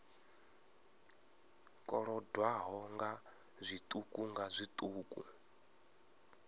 kolodwaho nga zwiṱuku nga zwiṱuku